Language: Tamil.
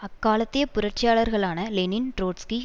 அக்காலத்திய புரட்சியாளர்களான லெனின் ட்ரொட்ஸ்கி